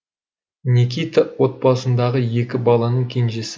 никита отбасындағы екі баланың кенжесі